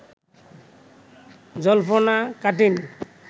জল্পনা কাটেনি